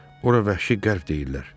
Ora vəhşi qərb deyirlər.